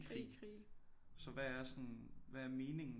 Krig så hvad er sådan hvad er meningen